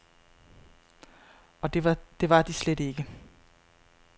Og det var slet de ikke.